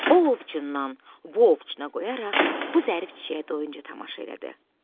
O ovcundan bu ovucuna qoyaraq bu zərif çiçəyə doyunca tamaşa elədi.